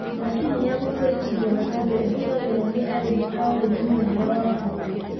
Macini ya gũtũrĩkithia matumbĩ ĩhũthagĩrwo nĩ arĩmi a ũrĩmi mũnene wa ngũkũ.